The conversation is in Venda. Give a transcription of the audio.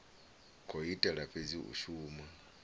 khou itela fhedzi u shuma